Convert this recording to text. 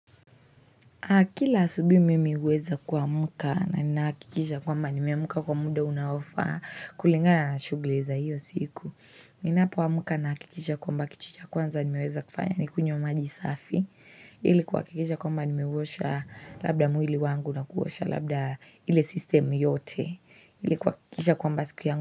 Kila asubuhi mimi huweza kuamuka na ninahakikisha kwamba nimeamka kwa muda unaofaa kulingana na shughuli za hiyo siku. Ninapoamka nahakikisha kwamba kitu cha kwanza nimeweza kufanya ni kunywa maji safi. Ili kuhakikisha kwamba nimeuosha labda mwili wangu na kuosha labda ile sistemu yote. Ili kuhakikisha kwamba siku yangu.